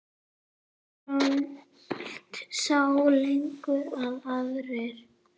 Arnold sá lengra en aðrir.